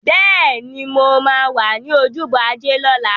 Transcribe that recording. Bẹ́ẹ̀ni, mo máa wà ní ojúbọ Ajé lọ́la.